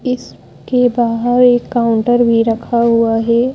इसके बाहर एक काउंटर भी रखा हुआ है।